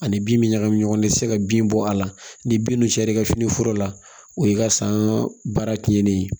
Ani bin mi ɲagami ɲɔgɔn na i tɛ se ka bin bɔ a la ni bin cayara i ka fini foro la o y'i ka san baara tiɲɛnen ye